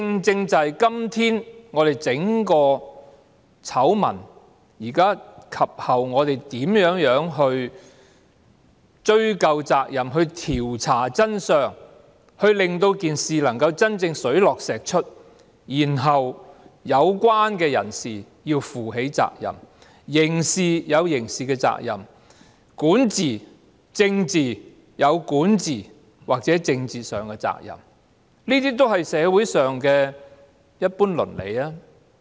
就整個醜聞，我們及後如何追究責任，調查真相，令事情真正水落石出，然後令有關人士負起責任，在刑事上有刑事的責任、在管治或政治上有管治或政治的責任，這些也是社會上的一般倫理吧。